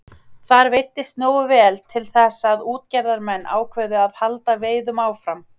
Þar veiddist nógu vel til þess að útgerðarmenn ákváðu að halda veiðum áfram.